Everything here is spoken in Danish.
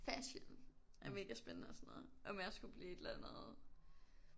Fashion er mega spændende og sådan noget. Om jeg skulle blive et eller andet